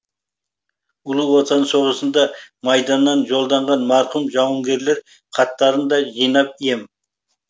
ұлы отан соғысында майданнан жолданған марқұм жауынгерлер хаттарын да жинап ем